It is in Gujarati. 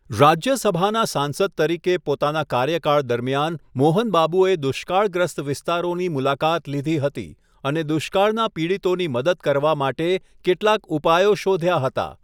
રાજ્યસભાના સાંસદ તરીકે પોતાના કાર્યકાળ દરમિયાન મોહન બાબુએ દુષ્કાળગ્રસ્ત વિસ્તારોની મુલાકાત લીધી હતી અને દુષ્કાળના પીડિતોની મદદ કરવા માટે કેટલાક ઉપાયો શોધ્યા હતા.